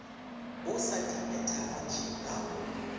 o sa di phethagatše ga